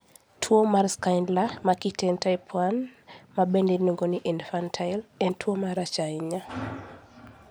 Tuwo mar Schindler ma kitgi en type 1, ma bende iluongo ni infantile, en tuwo marach ahinya.